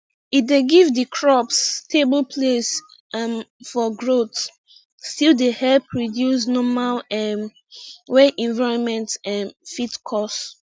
e dey give di crops stable place um for growth still dey help reduce normal um wey environment um fit cause